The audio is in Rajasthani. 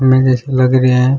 मेरे से लग रेया है।